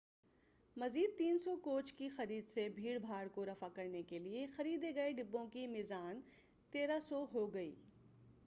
مزید 300 کوچ کی خرید سے بھیڑ بھاڑ کو رفع کرنے کے لئے خریدے گئے ڈبوں کی میزان 1300 ہو گئی